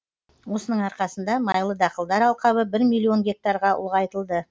осының арқасында майлы дақылдар алқабы бір миллион гектарға ұлғайтылды